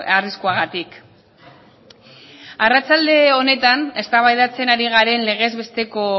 arriskuagatik arratsalde honetan eztabaidatzen ari garen legez besteko